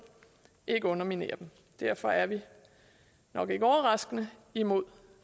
ikke underminere dem derfor er vi nok ikke overraskende imod